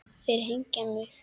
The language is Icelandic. Þeir hengja mig?